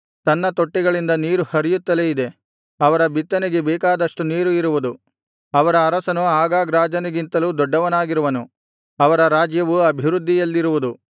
ತನ್ನ ತೊಟ್ಟಿಗಳಿಂದ ನೀರು ಹರಿಯುತ್ತಲೇ ಇದೆ ಅವರ ಬಿತ್ತನೆಗೆ ಬೇಕಾದಷ್ಟು ನೀರು ಇರುವುದು ಅವರ ಅರಸನು ಅಗಾಗ್ ರಾಜನಿಗಿಂತಲೂ ದೊಡ್ಡವನಾಗಿರುವನು ಅವರ ರಾಜ್ಯವು ಅಭಿವೃದ್ಧಿಯಲ್ಲಿರುವುದು